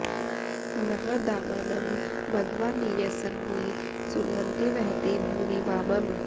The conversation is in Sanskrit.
नाह दामानं मघवा नि यंसन्नि सुन्वते वहति भूरि वामम्